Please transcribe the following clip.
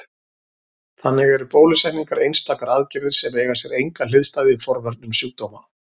Þannig eru bólusetningar einstakar aðgerðir sem eiga sér enga hliðstæðu í forvörnum sjúkdóma.